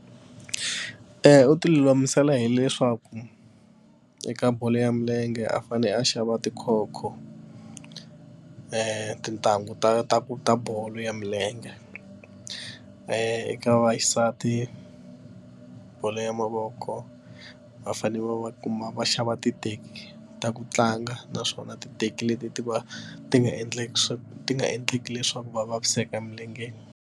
U ti lulamisela hileswaku eka bolo ya milenge a fanele a xava tikhokho ni tintangu ta ta ta bolo ya milenge i ka vaxisati bolo ya mavoko va fanele va va kuma va xava titeki ta ku tlanga naswona titeki leti ti va ti nga endleki swa ti nga endleki leswaku va vaviseka emilengeni.